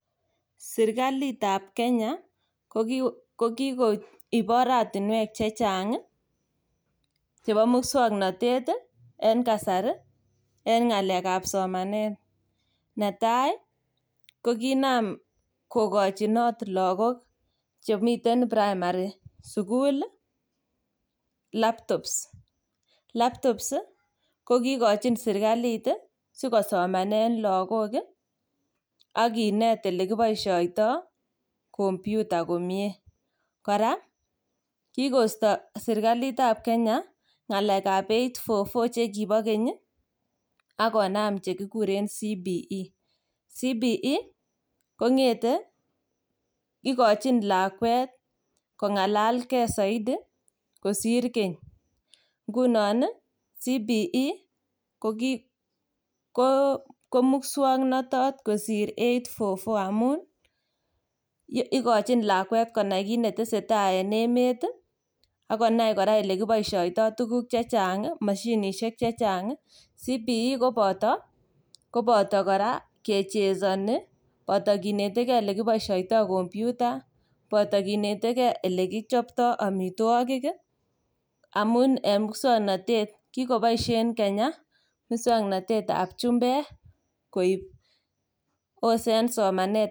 serkaliit ab kenya kogigoib oratinweek chechnag iih chebo muswoknotet iih en kasari en ngaleek ab somaneet , netai koginaam kogochinoot lagook chemiten primary suguul iih laptops, laptops iih kogigochin sirkaliit iih sigosomanen lagok iih ak kineet elegiboishoitoo computer komyee, koraa ko kigoisto serkaliit ab kenya ngaleek ab eight four four chegibo keny iih ak konaam chegiguree Competency Based Education, Competency Based Education kongete igochin lakweet kongalal kee soidi kosiir keny, ngunon iih Competency Based Education komuswoknotot kosiir eight four four amuun igochin lakweek konai kiit netesetai en emet iih ak konaai koraa elegiboishoitoo tuguk chechang iih moshinishek chechang iih, Competency Based Education koboto koraa kechesoni boto kinetegee elegiboishoitoo computer, boto kinetegee elegichoptoo omitwogik iih amuun en muswoknotet, kigoboishen kenya muswoknotet ab chumbeek koib ose en somaneet.